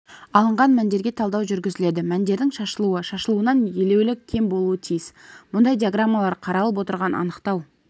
алынған мәндерге талдау жүргізіледі мәндерінің шашылуы шашылуынан елеулі кем болуы тиіс мұндай диаграммалар қаралып отырған анықтау